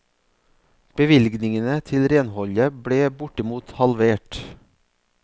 Bevilgningene til renholdet ble bortimot halvert.